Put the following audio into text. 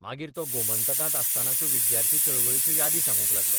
मागीर तो गोमंतकांत आसतनाच्यो विद्यार्थी चळवळीच्यो यादी सांगूंक लागलो.